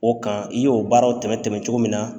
O kan i y'o baaraw tɛmɛn tɛmɛn cogo min na